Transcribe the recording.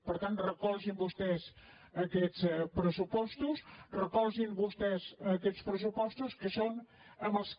per tant recolzin vostès aquests pressupostos recolzin vostès aquests pres supostos que són amb els que